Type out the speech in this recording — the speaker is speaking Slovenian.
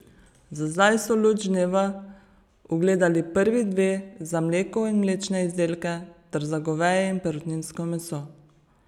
Za zdaj so luč dneva ugledali prvi dve, za mleko in mlečne izdelke ter za goveje in perutninsko meso.